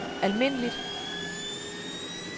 almindeligt